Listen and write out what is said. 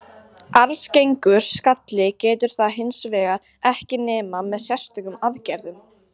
Arfgengur skalli getur það hins vegar ekki nema með sérstökum aðgerðum.